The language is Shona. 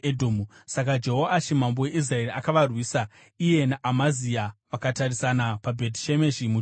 Saka Jehoashi mambo weIsraeri akavarwisa. Iye naAmazia vakatarisana paBheti Shemeshi muJudha.